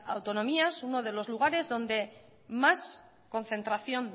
autonomías uno de los lugares donde más concentración